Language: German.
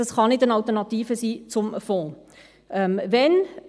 Dies kann keine Alternative zum Fonds sein.